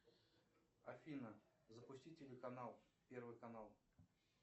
афина запусти телеканал первый канал